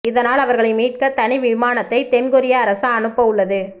இதனால் அவர்களை மீட்க தனி விமானத்தை தென்கொரிய அரசு அனுப்ப உள்ளது